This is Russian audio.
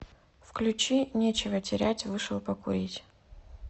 включи нечего терять вышел покурить